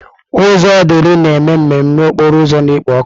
Ụzọ Odili na-eme mmemme okporo ụzọ na-ekpo ọkụ.